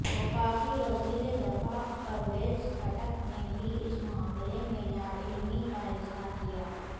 وفاقی وزیر دفاع پرویز خٹک نے بھی اس معاملے میں لاعلمی کا اظہار کیا